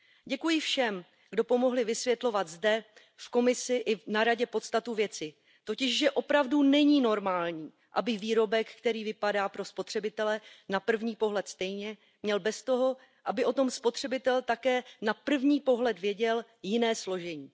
Děkuji všem, kdo pomohli vysvětlovat zde, v Komisi i na Radě podstatu věci totiž že opravdu není normální, aby výrobek, který vypadá pro spotřebitele na první pohled stejně, měl bez toho, aby o tom spotřebitel také na první pohled věděl, jiné složení.